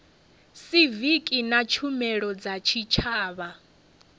siviki na tshumelo dza tshitshavha